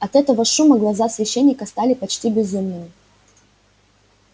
от этого шума глаза священника стали почти безумными